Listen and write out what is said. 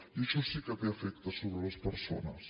i això sí que té efectes sobre les persones